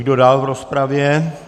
Kdo dál v rozpravě?